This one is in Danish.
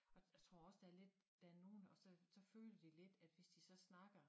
Og jeg tror også der lidt der nogen og så så føler de lidt at hvis de så snakker